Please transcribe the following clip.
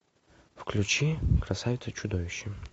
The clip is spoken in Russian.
включи красавица и чудовище